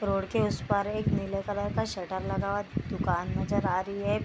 Road के उस पार एक नीले कलर का शटर लगा हुआ दुकान नजर आ रही है।